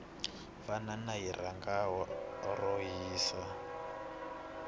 banana hi rhanga ro hisa